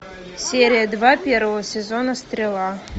серия два первого сезона стрела